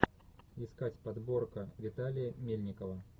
искать подборка виталия мельникова